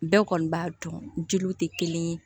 Bɛɛ kɔni b'a dɔn jeliw tɛ kelen ye